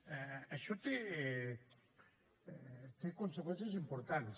això té conseqüències importants